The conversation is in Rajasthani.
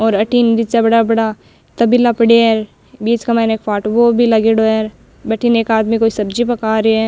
और अठीन निचे बड़ा बड़ा तबेला पड़ेया है बीच के माइन एक फाटकों भी लागेडो है भटीन एक आदमी सब्जी पक्का रे है।